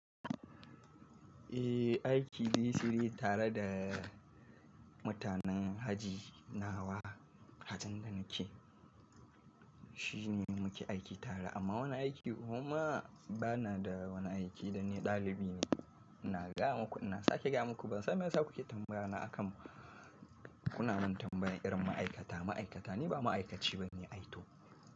Eh, aiki dai sirri tare da mutanen haji nawa, hajan da nake shine muke aiki tare amma wani aiki kuma bana da wani aiki dani ɗalibi ne. Ina gaya muku, ina sake gaya muku ban san me yasa kuke tambayyana akan kuna min tambayar irin ma'aikata, ma'aikata ni ba ma'aikaci ba ne ai to.